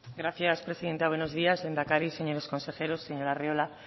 gracias presidenta buenos días lehendakari señores consejeros señor arriola